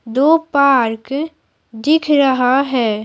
दो पार्क दिख रहा है।